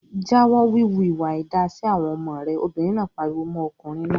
"Jáwọ́ wíwu ìwà àìda sí àwọn ọmọ rẹ!" Obìnrin náà pariwo mọ́ ọkùnrin náà.